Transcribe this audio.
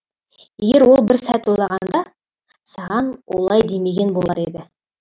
егер ол бір сәт ойланғанда саған олай демеген болар еді